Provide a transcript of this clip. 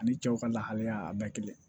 Ani cɛw ka lahalaya a bɛɛ kelen